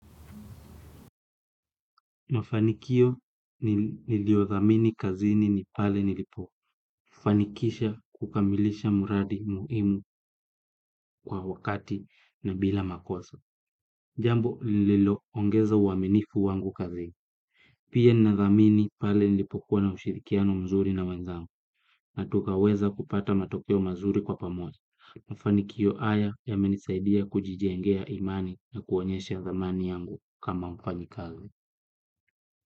Mafanikio niliyodhamini kazini ni pale nilipofanikisha kukamilisha mradi muhimu kwa wakati na bila makosa. Jambo lililoongeza uaminifu wangu kazini. Pia ninadhamini pale nilipokuwa na ushirikiano mzuri na wenzangu na tukaweza kupata matokeo mazuri kwa pamoja. Mafanikio haya yamenisaidia kujijengea imani na kuonyesha dhamani yangu kama mfanyikazi.